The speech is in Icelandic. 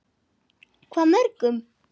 Hvað mörgum?